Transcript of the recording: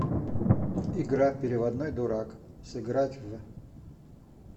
игра переводной дурак сыграть в